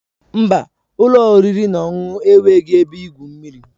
Mba, ụlọ oriri na ọṅụṅụ enweghị ebe igwu mmiri.